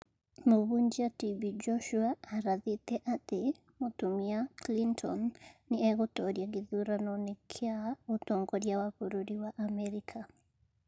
Mũhunjia TB Joshua arathĩte atĩ mũtumia Clinton nĩ egũtoria gĩthurano-inĩ kĩa ũtongoria wa bũrũri wa Amerika